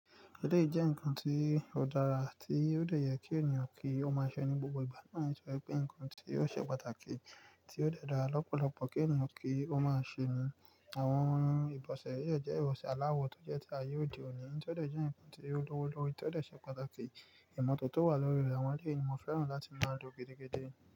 Eléyi jẹ́ ǹkan tí ó dára tí yóò jẹ́ kí ènìyàn kí ó máa sọ ní gbogbo ìgbà náà sọ pé ǹkan tí yóò ṣe pàtàkì tí ó dára lọ́pọ̀lọpọ̀ kí ènìyàn kí ó máa ṣe ni àwọn ìbọ̀sẹ̀ yóò jẹ́ ìbọ̀sẹ̀ aláwọ tó jẹ́ tí àyè òde òní, kí ó tọ́ dọ̀ jẹ́ ǹkan tí yóò lówó lówó kí ó tọ́ dọ̀ ṣe pàtàkì ìmọ̀tótó wà lórí àwọn ilé ènìyàn mo fẹ́ràn láti máa lo gẹ́gẹ́dẹ́